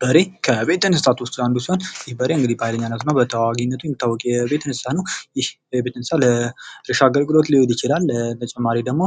በሬ ከቤት እንስሳት ውስጥ አንዱ ሲሆን በሬ እንግዲህ በኃይለኛነቱ እና በተዋጊነቱ የሚታወቅ የቤት እንስሳ ነው። ይህ የቤት እንስሳ ለእርሻ አገልግሎት ሊሆን ይችላል። በተጨማሪ ደግሞ